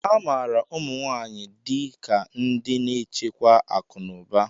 A maara ụmụ nwanyị dị ka ndị na-echekwa akụ na ụba.